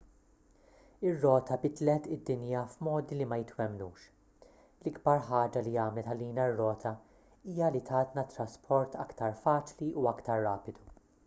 ir-rota bidlet id-dinja f'modi li ma jitwemmnux l-ikbar ħaġa li għamlet għalina r-rota hija li tatna trasport aktar faċli u aktar rapidu